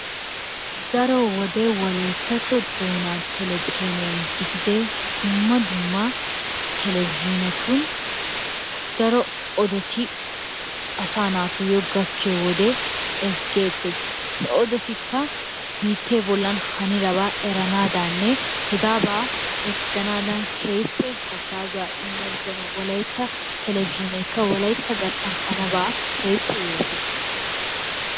Daro wode wolayttatto doonaa televizhzhiniyan gididee dumma dumma televizhzhinetun dumma dumma daro odoti asaa naatuyyo gaakkiyo wode ezggeettees. He odotikka biittee bollan hanidabaa eranaadaaninne hegaabaa ezgganaadan keehippe haggaazuwa immoosona. Wolaytta televizhzhineekka wolaytta garssan haninabaa keehippe yootees.